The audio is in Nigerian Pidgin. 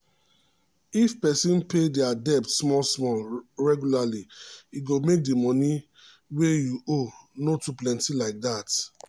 if person pay dia debt small-small regularly e go make di money wey you owe no too plenty like dat